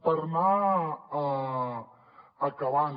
per anar acabant